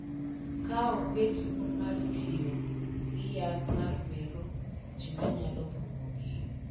Ka onge tipo mar tiyo gi yath ma mero ji ma nyalo pong’ogi.